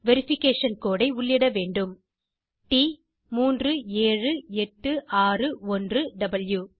verification code ஐ உள்ளிட வேண்டும் - t37861வாவ்